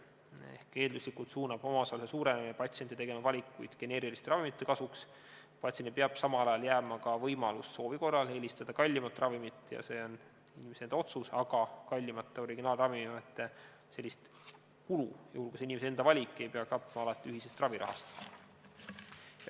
Ehk eelduslikult suunab omaosaluse suurenemine patsiente tegema valikuid geneeriliste ravimite kasuks, patsiendile peab aga samal ajal jääma ka võimalus soovi korral eelistada kallimat ravimit, see on inimese enda otsus, aga kallimate originaalravimite sellist kulu, juhul kui see on inimese enda valik, ei pea katma alati ühisest ravirahast.